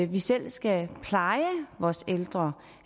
vi selv skal pleje vores ældre